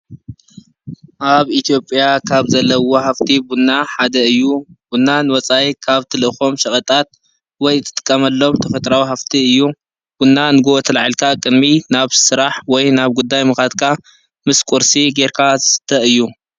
ኣብ ኢትዮፕያ ካብ ዘለዉ ሃፍቲ ቡና ሓደ እዩ። ቡና ንወፃኢ ካብ ትልእኮ ሸቀጣት ወይ ትጥቀመሎም ተፈጥራዊ ሃፍቲ እዩ። ቡና ንግሆ ተላዒልካ ቅድሚ ናብ ስራሕ ወይ ናብ ጉዳይ ምካድካ ምስ ቁርሲ ገይርካ ዝስተ እዩ።